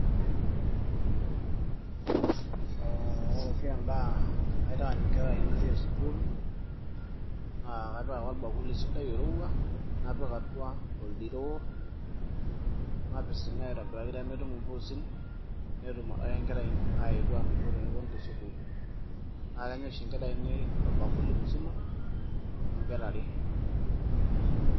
aa ore oshi endaa naitaany inkera ainei e skuuul naakapik ake orbakuli sidai oirowua napising'aa aitobiraki pee metum impuusin netum adake ingera ainei aanoto tenepuonu te school naa Kenya oshi inkera ainei orbakuli musima amu inkera are.